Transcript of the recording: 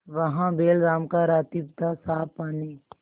वहाँ बैलराम का रातिब थासाफ पानी